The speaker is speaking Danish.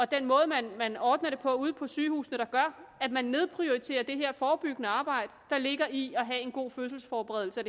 den måde man man ordner det på ude på sygehusene der gør at man nedprioriterer det forebyggende arbejde der ligger i at have en god fødselsforberedelse og